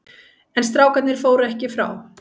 En strákarnir fóru ekki frá.